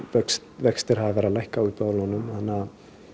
vextir hafa verið að lækka á íbúðalánum þannig að